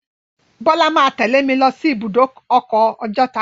Bọ́lá máa a tẹ́lẹ̀ mi lọ sí ibùdó ọkọ̀ Ọjọ́ta.